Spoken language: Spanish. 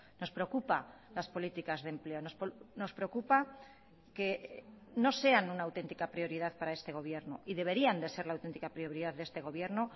nos preocupa las políticas de empleo nos preocupa que no sean una auténtica prioridad para este gobierno y deberían de ser la auténtica prioridad de este gobierno